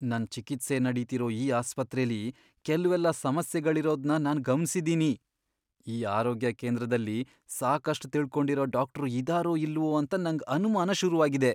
ನನ್ ಚಿಕಿತ್ಸೆ ನಡೀತಿರೋ ಈ ಆಸ್ಪತ್ರೆಲಿ ಕೆಲ್ವೆಲ್ಲ ಸಮಸ್ಯೆಗಳಿರೋದ್ನ ನಾನ್ ಗಮನ್ಸಿದೀನಿ. ಈ ಆರೋಗ್ಯ ಕೇಂದ್ರದಲ್ಲಿ ಸಾಕಷ್ಟ್ ತಿಳ್ಕೊಂಡಿರೋ ಡಾಕ್ಟ್ರು ಇದಾರೋ ಇಲ್ವೋ ಅಂತ ನಂಗ್ ಅನ್ಮಾನ ಶುರುವಾಗಿದೆ.